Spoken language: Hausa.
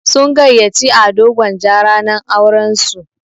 Sun gayyaci Ado Gwanja ranar auran su.